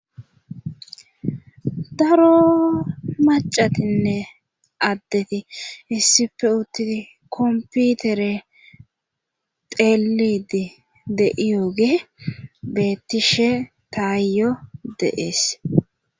daro macatinne addeti issife uttidi komputere teelidi de'iyoge bettishe taayyo de'ees